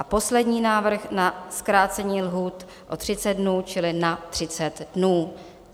A poslední návrh na zkrácení lhůt o 30 dnů, čili na 30 dnů.